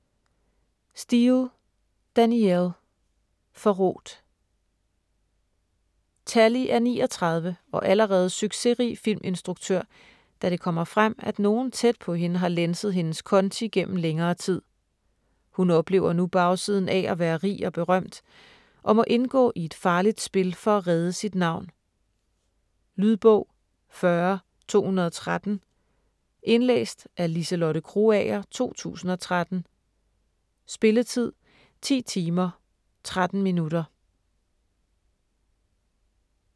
Steel, Danielle: Forrådt Tallie er 39 og allerede succesrig filminstruktør, da det kommer frem, at nogen tæt på hende har lænset hendes konti gennem længere tid. Hun oplever nu bagsiden af at være rig og berømt, og må indgå i et farligt spil for at redde sit navn. Lydbog 40213 Indlæst af Liselotte Krogager, 2013. Spilletid: 10 timer, 13 minutter.